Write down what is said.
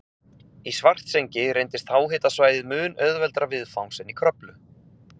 Í Svartsengi reyndist háhitasvæðið mun auðveldara viðfangs en í Kröflu.